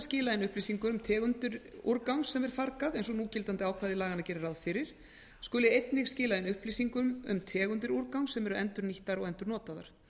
skila inn upplýsingum um tegundir úrgangs sem er fargað eins og núgildandi ákvæði laganna gerir ráð fyrir skuli einnig skila inn upplýsingum um tegundir úrgangs sem eru endurnýttar og endurnotaðar